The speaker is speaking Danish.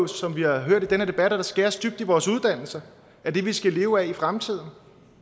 som vi har hørt i den her der skæres dybt i vores uddannelser af det vi skal leve af i fremtiden